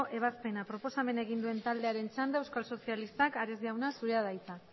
ebazpena proposamena egin duen taldearen txanda euskal sozialistak ares jauna zurea da hitza